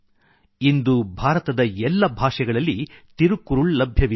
ಇಂದು ಭಾರತದ ಎಲ್ಲ ಭಾಷೆಗಳಲ್ಲಿ ತಿರುಕ್ಕುರುಳ್ ಲಭ್ಯವಿದೆ